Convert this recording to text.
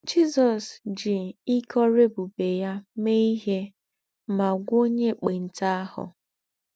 Jízọ́s jí íké órú ébùbè yá méè íhé mà gwọ́ò ònyè ékpèntà àhù.